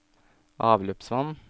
avløpsvann